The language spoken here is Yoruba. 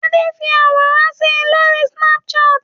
Adé fi àwòrán si lórí Snapchat?